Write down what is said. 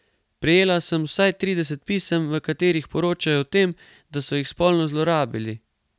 Prejela sem vsaj trideset pisem, v katerih poročajo o tem, da so jih spolno zlorabili.